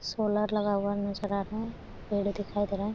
Solar लगा हुवा नजर आ रहा है पेड़ दिखाई दे रहा है।